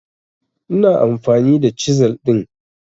Ina amfani da chisel din